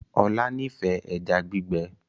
Ola n'ifẹ ejá gbígbé